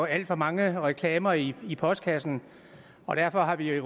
alt for mange reklamer i i postkassen og derfor har vi